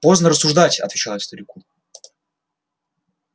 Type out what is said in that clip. поздно рассуждать отвечал я старику